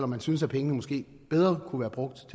man synes at pengene måske kunne være brugt